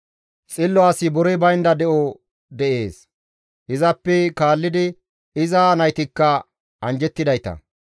Xillo asi borey baynda de7o dees; izappe kaallidi iza naytikka anjjettidayta.